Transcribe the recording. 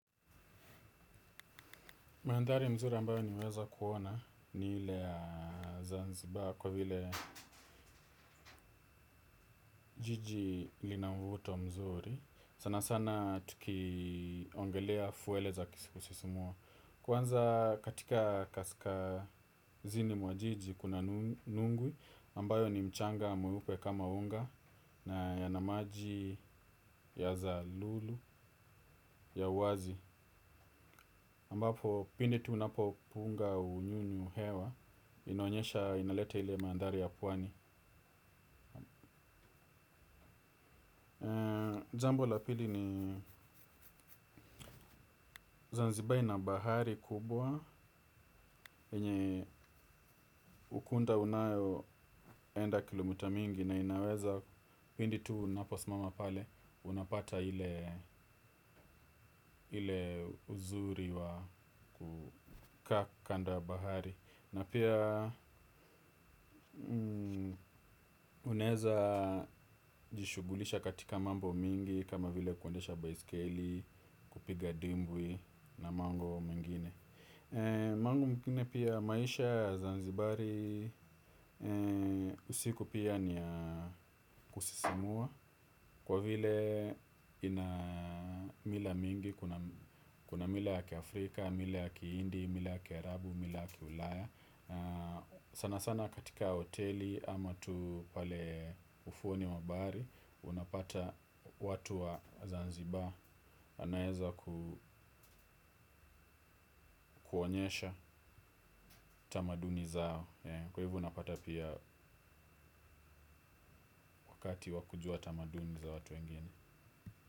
Mandhari mzuri ambayo nimeweza kuona ni ile ya Zanzibar kwa vile jiji lina mvuto mzuri. Sana sana tukiongelea fwele za kisikusisimua. Kwanza katika kaskazini mwa jiji kuna nungu ambayo ni mchanga mweupe kama unga na yana maji ya zalulu ya uwazi. Ambapo pindi tu unapopunga unyunyu hewa inaonyesha inaleta ile mandhari ya pwani. Jambo la pili ni zanzibar ina bahari kubwa. Yenye ukunda unayoenda kilomita mingi. Na inaweza pindi tu unaposimama pale unapata ile uzuri wa kukaa kando ya bahari. Na pia unaeza jishughulisha katika mambo mingi kama vile kuendesha baiskeli, kupiga dimbwi na mango mingine. Mambo mingine pia maisha ya Zanzibari usiku pia ni ya kusisimua. Kwa vile ina mila mingi, kuna mila ya Afrika, mila ya Kiindi, mila ya kiarabu, mila ya Kiulaya. Sana sana katika hoteli ama tu pale ufuoni wa bahari unapata watu wa Zanzibar Anaeza kuonyesha tamaduni zao. Kwa hivyo unapata pia kati wa kujua tamaduni za watu wengine.